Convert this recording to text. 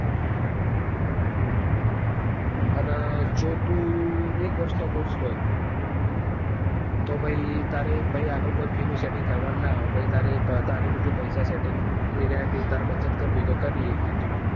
અને જો તું એક વર્ષ નો course લે તો પછી તો આગળ કોઈ fee નું setting કરવા નું નાં આવે પછી તારે તારી રીતે પૈસા setting એ પૈસા બચત કરવી હોય તો કરી સકે તું.